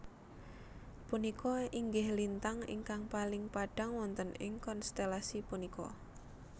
Punika inggih lintang ingkang paling padhang wonten ing konstelasi punika